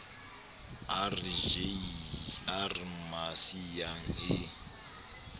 r j r masiea e